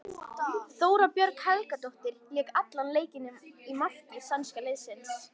Þóra Björg Helgadóttir lék allan leikinn í marki sænska liðsins.